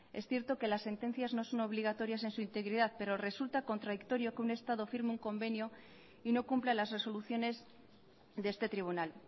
es cierto que la sentencias no son obligatorias en su integridad pero resulta contradictorio que un estado firme un convenio y no cumpla las resoluciones de este tribunal